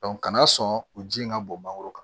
kana sɔn u ji in ka bɔ mangoro kan